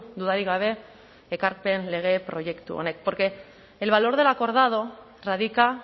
dudarik gabe ekarpen lege proiektu honek porque el valor de lo acordado radica